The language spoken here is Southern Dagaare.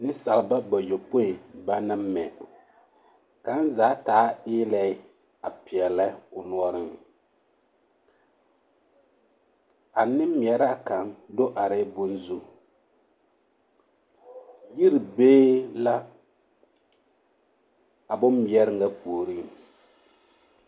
Nensaaleba bayɔpoi banaŋ mɛ kaŋa zaa taa eelɛɛ a peɛlɛ o noɔreŋ a nemmeɛraa kaŋ do arɛɛ bonzu yiri be la a bommeɛre na puoriŋ.